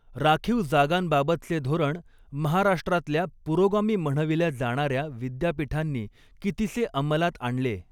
राखीव जागांबाबतचे धोरण महाराष्ट्रातल्या पुरोगामी म्हणविल्या जाणाऱ्या विद्यापीठांनी कितीसे अंमलात आणले